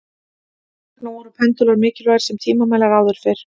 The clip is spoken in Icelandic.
Þess vegna voru pendúlar mikilvægir sem tímamælar áður fyrr.